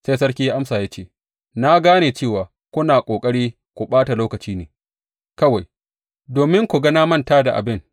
Sai sarki ya amsa ya ce, Na gane cewa kuna ƙoƙari ku ɓata lokaci ne kawai domin ku ga na manta da abin.